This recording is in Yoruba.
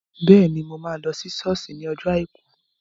Bẹ́ẹ̀ni, mo máa lọ sí sọ́ọ̀sì ní ọjọ́ àìkú